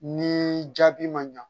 Ni jaabi ma ɲa